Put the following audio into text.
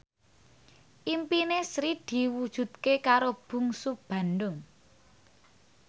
impine Sri diwujudke karo Bungsu Bandung